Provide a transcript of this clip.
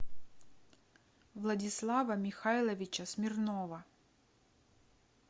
владислава михайловича смирнова